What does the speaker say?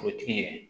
Forotigi yɛrɛ